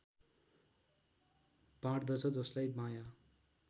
बाँड्दछ जसलाई बायाँ